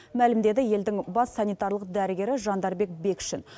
мәлімдеді елдің бас санитарлық дәрігері жандарбек бекшин